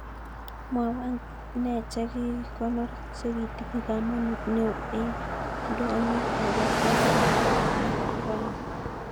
Mwawan ne chekikonor chekitinye kamanut neo en ndonyo nebo hisa nasdaq rani